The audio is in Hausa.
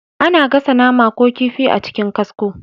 A na gasa nama ko kifi a cikin kasko